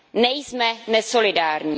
Nejsme nesolidární.